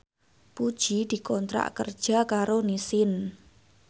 Puji dikontrak kerja karo Nissin